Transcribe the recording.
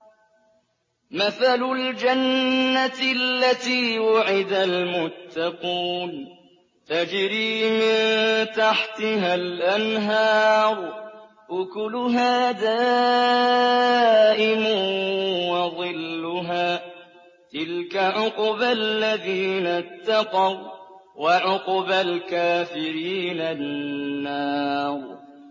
۞ مَّثَلُ الْجَنَّةِ الَّتِي وُعِدَ الْمُتَّقُونَ ۖ تَجْرِي مِن تَحْتِهَا الْأَنْهَارُ ۖ أُكُلُهَا دَائِمٌ وَظِلُّهَا ۚ تِلْكَ عُقْبَى الَّذِينَ اتَّقَوا ۖ وَّعُقْبَى الْكَافِرِينَ النَّارُ